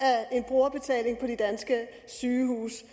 af en brugerbetaling på de danske sygehuse